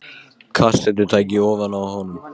Kassettutæki ofan á honum.